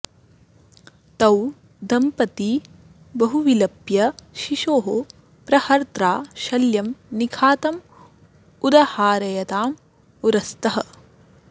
तौ दंपती बहु विलप्य शिशोः प्रहर्त्रा शल्यं निखातं उदहारयतां उरस्तः